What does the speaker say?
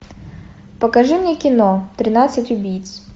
покажи мне кино тринадцать убийц